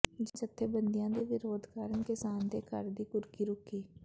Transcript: ਜੱਥੇਬੰਧੀਆਂ ਦੇ ਵਿਰੋਧ ਕਾਰਨ ਕਿਸਾਨ ਦੇ ਘਰ ਦੀ ਕੁਰਕੀ ਰੁਕੀ